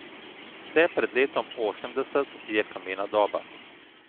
Vse pred letom osemdeset je kamena doba.